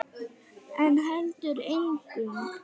En heldur engu.